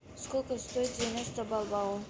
сколько стоит девяносто бальбоа